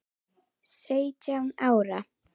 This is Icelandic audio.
Sautján ára.